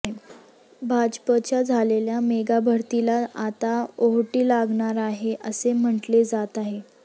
भाजपच्या झालेल्या मेगाभरतीला आता ओहोटी लागणार आहे असे म्हटले जात आहे